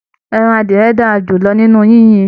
Ẹran adiyẹ́ dára jùlọ nínú yìnyín.